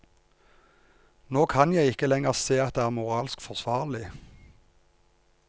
Nå kan jeg ikke lenger se at det er moralsk forsvarlig.